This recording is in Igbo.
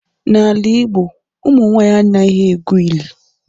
N'ala Igbo ụmụ nwaanyi anaghi egwu ili.